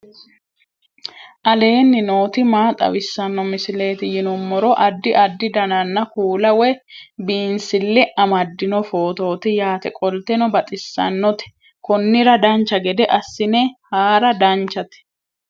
aleenni nooti maa xawisanno misileeti yinummoro addi addi dananna kuula woy biinsille amaddino footooti yaate qoltenno baxissannote konnira dancha gede assine haara danchate